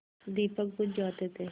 दीपक बुझ जाते थे